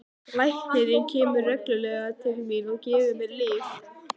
Læknirinn kemur reglulega til mín og gefur mér lyf.